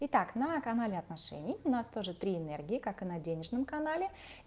итак на канале отношений у нас тоже три энергии как и на денежном канале